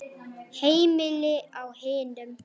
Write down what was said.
Heimili á hinum.